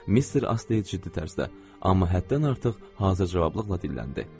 Mister Astey ciddi tərzdə, amma həddən artıq hazır cavablıqla dilləndi.